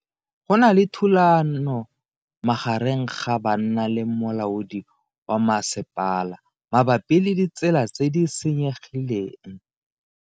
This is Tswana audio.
Go na le thulano magareng ga banna le molaodi wa masepala mabapi le ditsela tse di senyegileng.